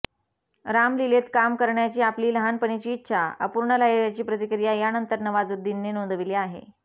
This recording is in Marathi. रामलीलेत काम करण्याची आपली लहानपणीची इच्छा अपूर्ण राहिल्याची प्रतिक्रिया यानंतर नवाझुद्दीनने नोंदवली आहे